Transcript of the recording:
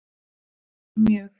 Því er mjög